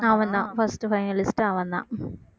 அவன்தான் first finalist ஏ அவன்தான்